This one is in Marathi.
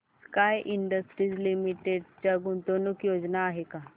स्काय इंडस्ट्रीज लिमिटेड च्या गुंतवणूक योजना आहेत का